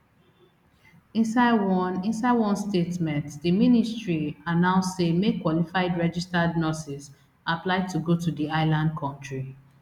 inside one inside one statement di ministry announce say make qualified registered nurses apply to go to di island kontri